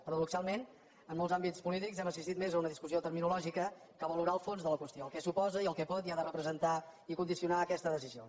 para·doxalment en molts àmbits polítics hem assistit més a una discussió terminològica que valorar el fons de la qüestió el que suposa el que pot i ha de represen·tar i condicionar aquesta decisió